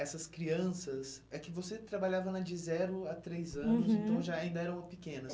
Essas crianças, é que você trabalhava né de zero a três anos, uhum, então já ainda eram pequenas.